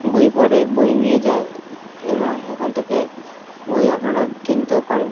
বই পরে বই নিয়ে যায় এবং এখান থেকে বই আপনারা কিনতেও পারেন।